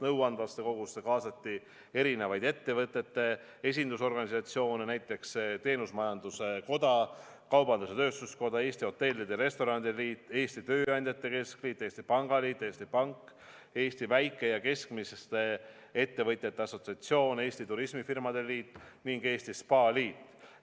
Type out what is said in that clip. Nõuandvasse kogusse kaasati erinevaid ettevõtete esindusorganisatsioone, näiteks Teenusmajanduse Koda, Eesti Kaubandus-Tööstuskoda, Eesti Hotellide ja Restoranide Liit, Eesti Tööandjate Keskliit, Eesti Pangaliit, Eesti Pank, Eesti Väike- ja Keskmiste Ettevõtjate Assotsiatsioon, Eesti Turismifirmade Liit ning Eesti Spaaliit.